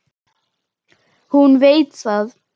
Hún veit það.